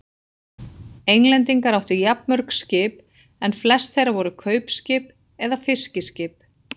Englendingar áttu jafnmörg skip en flest þeirra voru kaupskip eða fiskiskip.